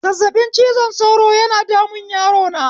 Zazzaɓin cizon sauro yana damun yarona